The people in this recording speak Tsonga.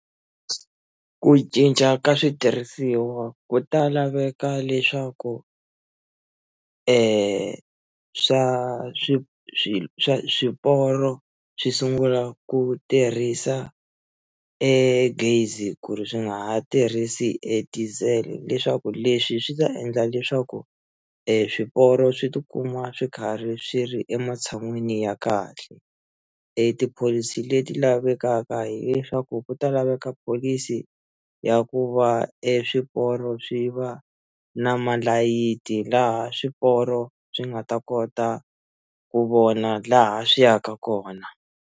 Ku cinca ka switirhisiwa ku ta laveka leswaku swa swi swi swiporo swi sungula ku tirhisa e gezi ku ri swi nga ha tirhisi e diesel leswaku leswi swi ta endla leswaku e swiporo swi tikuma swi karhi swi ri ematshan'wini ya kahle e tipholisi leti lavekaka hileswaku ku ta laveka pholisi ya ku va eswiporo swi va na malayithi laha swiporo swi nga ta kota ku vona laha swi yaka kona.